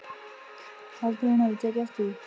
Heldurðu að hún hafi tekið eftir því?